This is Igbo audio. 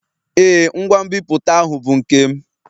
Ee, ngwa nbipute ahụ bụ nke m.